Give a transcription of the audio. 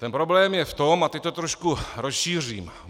Ten problém je v tom - a teď to trošku rozšířím.